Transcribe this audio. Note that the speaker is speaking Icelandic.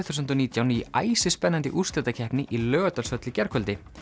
þúsund og nítján í æsispennandi úrslitakeppni í Laugardalshöll í gærkvöldi